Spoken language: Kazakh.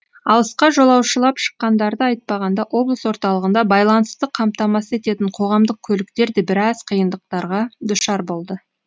алысқа жолаушылап шыққандарды айтпағанда облыс орталығында байланысты қамтамасыз ететін қоғамдық көліктер де біраз қиындықтарға душар болды